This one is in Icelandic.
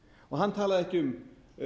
og hann talaði ekki um